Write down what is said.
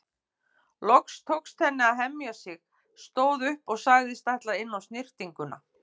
Loks tókst henni að hemja sig, stóð upp og sagðist ætla inn á snyrtinguna.